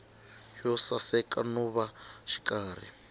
yo saseka no va xikarhi